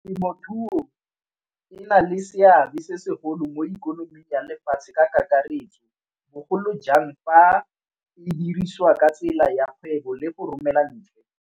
Temothuo e na le seabe se segolo mo ikonoming ya lefatshe ka kakaretso, bogolo jang fa le dirisiwa ka tsela ya kgwebo le go romela ntle.